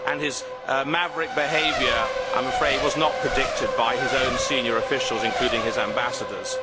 His maverick behaviour was not predicted by his own senior officials, including his ambassadors.